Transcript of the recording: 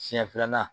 Siɲɛ filanan